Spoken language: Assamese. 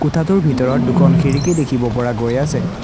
কোঠাটোৰ ভিতৰত দুখন খিৰিকী দেখিব পৰা গৈ আছে।